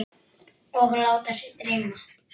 Og láta sig dreyma.